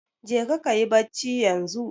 Jeka kayi bacci yanzu.